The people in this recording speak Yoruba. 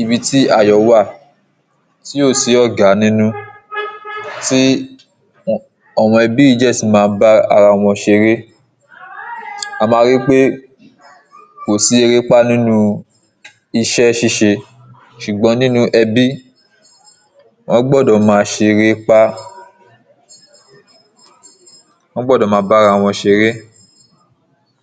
ibi ti ayọ̀ wà tí ò sí ọ̀gá nínú, tí àwọn ẹbí yìí dẹ̀ ti maá ń bá ara wọn ṣe eré a máa ríi pe kò sí eréepá nínu iṣẹ́ ṣíṣe ṣùgbọ́n nínu ẹbí wọ́n gbọ́dọ̀ máa ṣe eréepa, wọ́n gbọ́dọ̀ máa bá ara wọn ṣe eré